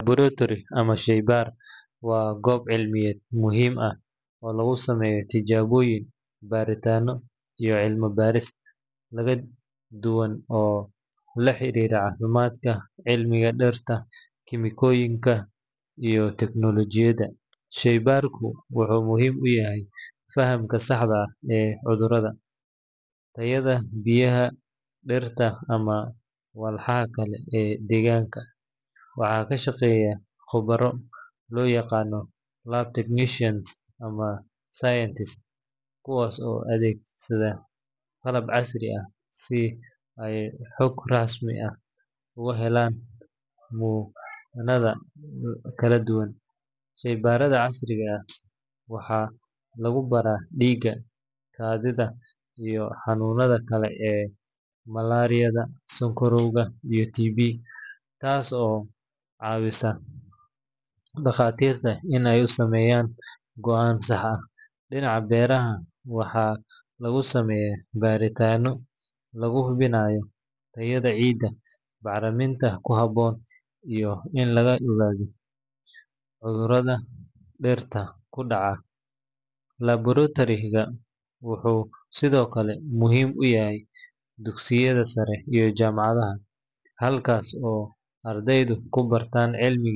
Laboratory ama sheybaar waa goob cilmiyeed muhiim ah oo lagu sameeyo tijaabooyin, baaritaanno iyo cilmi-baaris kala duwan oo la xiriirta caafimaadka, cilmiga dhirta, kiimikooyinka, iyo teknoolojiyadda. Sheybaarku wuxuu muhiim u yahay fahamka saxda ah ee cudurrada, tayada biyaha, dhirta, ama walxaha kale ee deegaanka. Waxaa ka shaqeeya khubaro loo yaqaan lab technicians ama scientists kuwaas oo adeegsada qalab casri ah si ay xog rasmi ah uga helaan muunado kala duwan. Sheybaarrada caafimaad waxaa lagu baaraa dhiigga, kaadida, iyo xanuunnada kale sida malaariyada, sonkorowga, iyo TB, taas oo caawisa dhakhaatiirta si ay u sameeyaan go’aan sax ah. Dhinaca beeraha, waxaa lagu sameeyaa baaritaanno lagu hubinayo tayada ciidda, bacriminta ku habboon, iyo in la ogaado cudurrada dhirta ku dhaca. Laboratory-gu wuxuu sidoo kale muhiim u yahay dugsiyada sare iyo jaamacadaha, halkaas oo ardaydu ku bartaan cilmiga.